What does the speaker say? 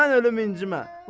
Mən ölüm incimə.